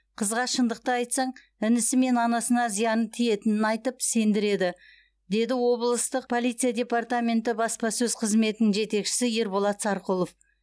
қызға шындықты айтсаң інісі мен анасына зияны тиетінін айтып сендіреді деді облыстық полиция департаменті баспасөз қызметінің жетекшісі ерболат сарқұлов